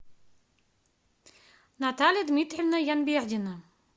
наталья дмитриевна янбердина